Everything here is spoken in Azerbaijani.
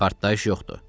Partlayış yoxdur.